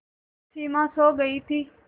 सिमा सो गई थी